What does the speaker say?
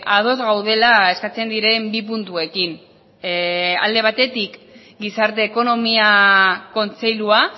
ados gaudela eskatzen diren bi puntuekin alde batetik gizarte ekonomia kontseilua